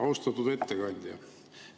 Austatud ettekandja!